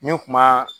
N kuma